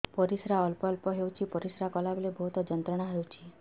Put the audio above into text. ପରିଶ୍ରା ଅଳ୍ପ ଅଳ୍ପ ହେଉଛି ପରିଶ୍ରା କଲା ବେଳେ ବହୁତ ଯନ୍ତ୍ରଣା ହେଉଛି